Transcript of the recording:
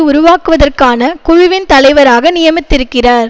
உருவாக்குவதற்கான குழுவின் தலைவராக நியமித்திருக்கிறார்